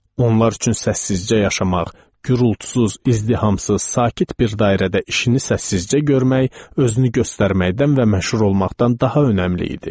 Onlar üçün səssizcə yaşamaq, qürultusuz, izdihamsız, sakit bir dairədə işini səssizcə görmək, özünü göstərməkdən və məşhur olmaqdan daha önəmli idi.